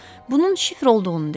Bunun şifr olduğunu dedim.